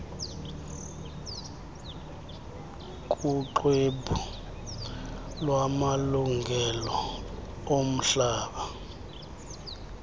kuxwebhu lwamalungelo omhlaba